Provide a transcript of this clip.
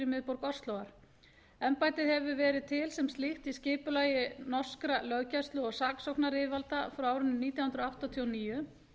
miðborg óslóar embættið hefur verið til sem slíkt í skipulagi norskra löggæslu og saksóknaryfirvalda frá árinu nítján hundruð áttatíu og níu